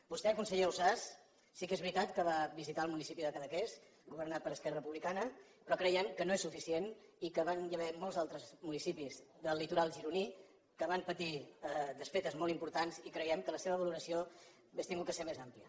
vostè conseller ausàs sí que és veritat que va visitar el municipi de cadaqués governat per esquerra repu·blicana però creiem que no és suficient i que hi van ha·ver molts altres municipis del litoral gironí que van patir desfetes molt importants i creiem que la seva valoració hauria hagut de ser més àmplia